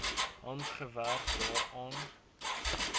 hard gewerk daaraan